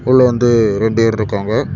உள்ள வந்து ரெண்டு பேர் இருக்காங்க.